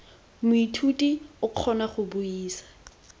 moithuti o kgona go buisa